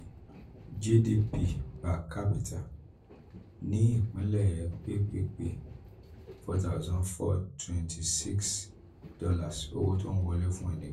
gdp per capita ní ìpílẹ̀ ppp us our thousand four twenty six dollars owó tó ń wọlé fún ẹnì kan